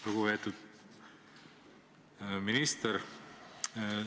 Lugupeetud minister!